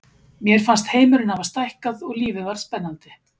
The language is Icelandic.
Mér fannst heimurinn hafa stækkað og lífið varð spennandi.